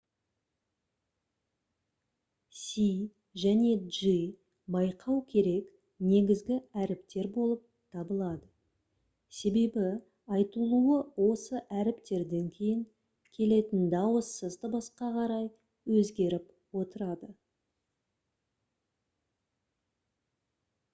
c және g байқау керек негізгі әріптер болып табылады себебі айтылуы осы әріптерден кейін келетін дауыссыз дыбысқа қарай өзгеріп отырады